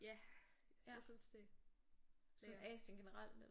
Ja jeg synes det lækkert